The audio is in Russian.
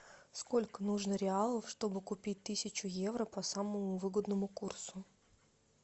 сколько нужно реалов чтобы купить тысячу евро по самому выгодному курсу